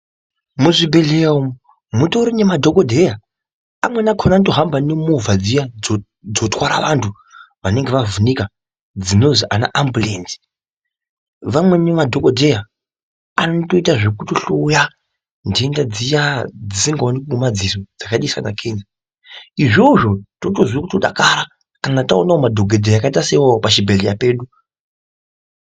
Muzvibhehleya umwu mutori nemadhokodheya amweni akona anoto hambe nemovha dziya dzotwara anhu anonga avhunika, dzinozi anaamburenzi, vamweni madhokodheya anotoite zvekutohloya nhenda dziya dzisingaonekwi ngemadziso dzakaita sana kenza izvozvo totozwe kutodakara kana taone madhokodheya akaita seiwawo pachibhehleya pedu.